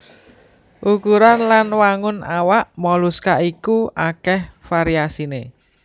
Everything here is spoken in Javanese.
Ukuran lan wangun awak moluska iku akèh variasiné